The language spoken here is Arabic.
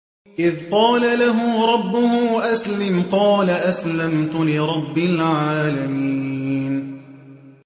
إِذْ قَالَ لَهُ رَبُّهُ أَسْلِمْ ۖ قَالَ أَسْلَمْتُ لِرَبِّ الْعَالَمِينَ